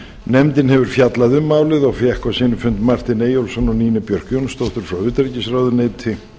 nefndin hefur fjallað um málið og fékk á sinn fund martin eyjólfsson og nínu björk jónsdóttur frá utanríkisráðuneyti